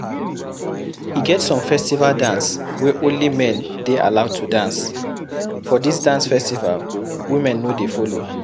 E get some festival dance wey only men dey allowed to dance, for this dance festival women no dey follow